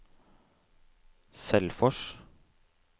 Selfors